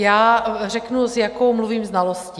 Já řeknu, s jakou mluvím znalostí.